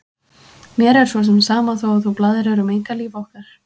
Mér er svo sem sama þótt þú blaðrir um einkalíf okkar.